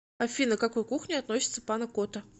афина к какой кухне относится пана кота